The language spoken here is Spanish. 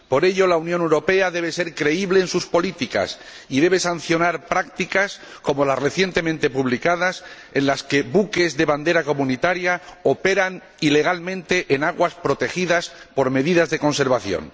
Por ello, la Unión Europea debe ser creíble en sus políticas y debe sancionar prácticas, como las recientemente publicadas, en las que buques de bandera comunitaria operan ilegalmente en aguas protegidas por medidas de conservación.